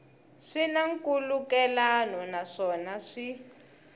swi na nkhulukelano naswona swi